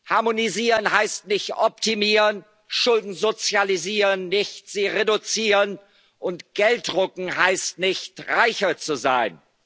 ist Irrsinn. Harmonisieren heißt nicht optimieren, Schulden sozialisieren nicht, sie reduzieren, und Geld drucken heißt nicht, reicher